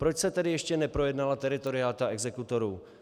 Proč se tedy ještě neprojednala teritorialita exekutorů?